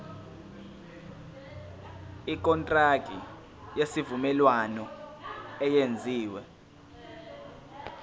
ikontraki yesivumelwano eyenziwe